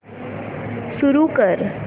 सुरू कर